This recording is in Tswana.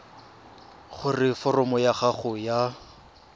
gore foromo ya gago ya